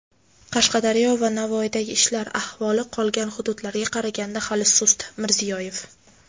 Qashqadaryo va Navoiydagi ishlar ahvoli qolgan hududlarga qaraganda hali sust – Mirziyoyev.